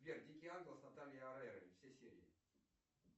сбер дикий ангел с натальей орейро все серии